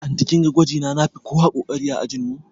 Anty kinga gwajina nafi kowa ƙoƙari a ajin mu